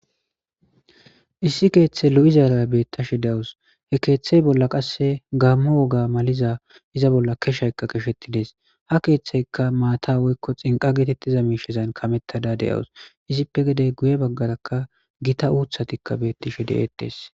issi keeththe lo7izara beettashe dawus he keeththe bolla qasse gammo woga maliza iza bolla keshaykka keshetides ha keeththayka maata woykko xinqa geetettiza miishezan kamettada deyawus izippe gedey guye baggarakka gita uuthatikka beettishe de7eettes